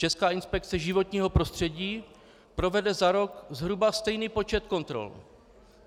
Česká inspekce životního prostředí provede za rok zhruba stejný počet kontrol.